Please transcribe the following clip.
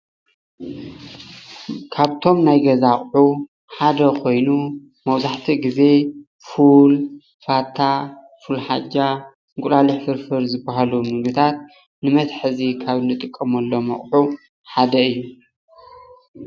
ካብቶም ናይ ገዛ ኣቁሑ ሓደ ኾይኑ መብዛሕትኡ ግዜ ፉል፤ ፋታ።፣ፉል ሓጃ እንቁላሊሕ ፍርፍር ዝበሃሉ ምግብታት ንመትሐዚ ካብ እንጥቀመሎም ኣቁሑ ሓደ እዩ።